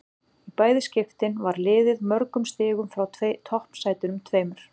Í bæði skiptin var liðið mörgum stigum frá toppsætunum tveimur.